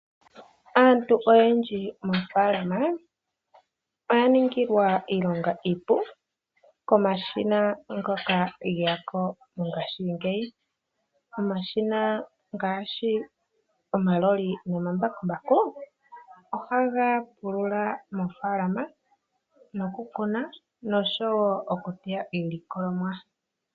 Aantu oyendji moofaalama oya ningilwa iilonga iipu komashina ngoka geyako mongashingeyi. Omashina ngaashi omaloli noma mbakumbaku ohaga pulula moofaalama noku kuna nosho wo oku teya iilikolomwa.